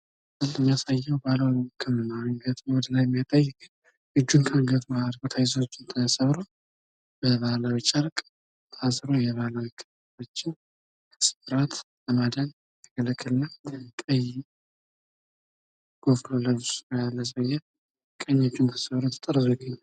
እዚህ የሚያሳየው ባህላዊ ህክምና ገጥሞት ነው። እጁን ከአንገቱ ታስሮ በባህላዊ ጨርቅ ታስሮ እጁን ከስብራት ለማዳን የሚያገለግል ቀይ ልብስ የለበሰ ሰውየ ነው። ቀኝ እጁን አንገቱ ጋር ተጠርዞ ይገኛል።